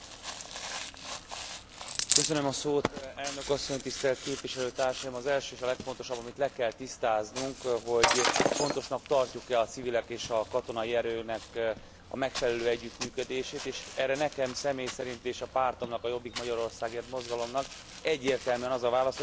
Elnök asszony, tisztelt képviselőtársaim! Az első és a legfontosabb, amit le kell tisztáznunk, hogy fontosnak tartjuk e a civilek és a katonai erőnek a megfelelő együttműködését, és erre nekem személy szerint és a pártomnak, a Jobbik Magyarországért mozgalomnak egyértelműen az a válasza, hogy igen, fontosnak tarjuk a civileknek és a